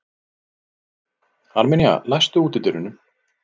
Armenía, læstu útidyrunum.